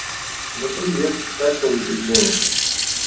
ну привет как получить бонусы